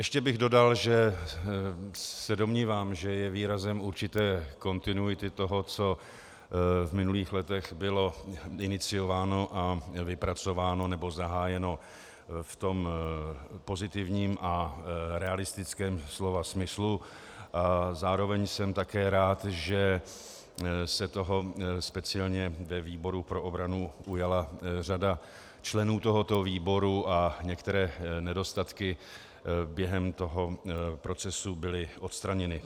Ještě bych dodal, že se domnívám, že je výrazem určité kontinuity toho, co v minulých letech bylo iniciováno a vypracováno nebo zahájeno v tom pozitivním a realistickém slova smyslu, a zároveň jsem také rád, že se toho speciálně ve výboru pro obranu ujala řada členů tohoto výboru a některé nedostatky během toho procesu byly odstraněny.